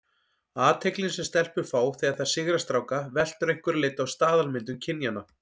Athyglin sem stelpur fá þegar þær sigra stráka veltur að einhverju leyti á staðalmyndum kynjanna.